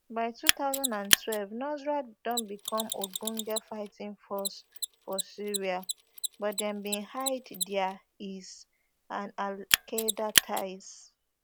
by two thousand and twelve nusra don become ogbonge fighting force for syria but dem bin hide dia is and alqaeda ties